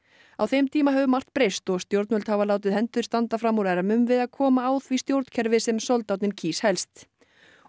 á þeim tíma hefur margt breyst og stjónvöld hafa látið hendur standa fram úr ermum við að koma á því stjórnkerfi sem soldáninn kýs helst og